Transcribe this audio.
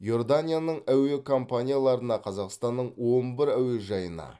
иорданияның әуе компанияларына қазақстанның он бір әуежайына